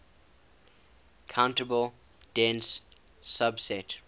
countable dense subset